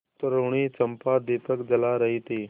तरूणी चंपा दीपक जला रही थी